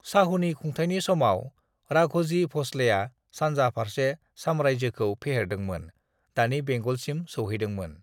"शाहुनि खुंथायनि समाव, राघोजी भोसलेया सानजा फारसे साम्रायजोखौ फेहेरदोंमोन, दानि बेंगलसिम सौहैदोंमोन।"